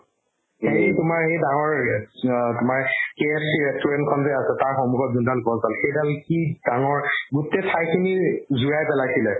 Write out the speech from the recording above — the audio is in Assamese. এই তোমাৰ সেই ডাঙৰ গছ অ তোমাৰ KFC restaurant খন যে আছে তাৰ সন্মুখত যোনডাল গছডাল সেইডাল কি ডাঙৰ গোটে ঠাইখিনি জুৰাই পেলাইছিলে